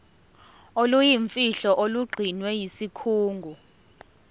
oluyimfihlo olugcinwe yisikhungo